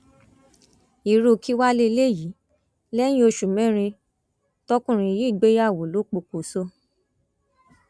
irú kí wàá lélẹyìí lẹyìn oṣù mẹrin tọkùnrin yìí gbéyàwó lọ pokùṣọ